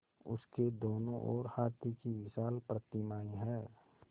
उसके दोनों ओर हाथी की विशाल प्रतिमाएँ हैं